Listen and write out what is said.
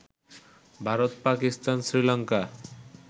Bharat, Pakistan, Sri Lanka